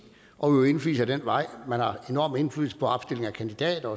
og udøve indflydelse den vej man har enorm indflydelse på opstilling af kandidater